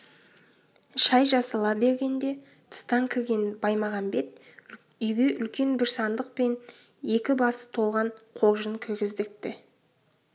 шай жасала бергенде тыстан кірген баймағамбет үйге үлкен бір сандық пен екі басы толған қоржын кіргіздіртті